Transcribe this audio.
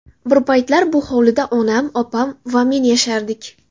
Bir paytlar bu hovlida onam, opam va men yashardik.